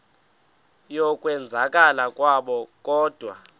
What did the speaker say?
yokwenzakala kwabo kodwa